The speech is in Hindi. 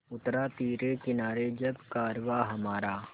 उतरा तिरे किनारे जब कारवाँ हमारा